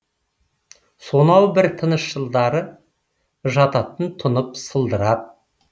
сонау бір тыныш жылдары жататын тұнып сылдырап